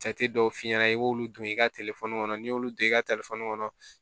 Jate dɔw f'i ɲɛna i b'olu don i ka kɔnɔ n'i y'olu don i ka kɔnɔ